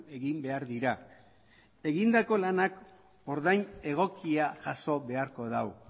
egin behar dira egindako lanak ordain egokia jaso beharko du